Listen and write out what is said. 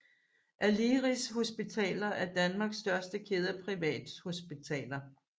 Aleris Hospitaler er Danmarks største kæde af privathospitaler